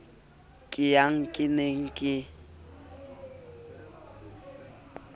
ke yang ke ne ke